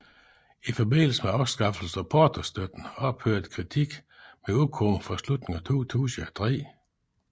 I forbindelse med afskaffelsen af portostøtten ophørte Critique med at udkomme fra slutningen af 2003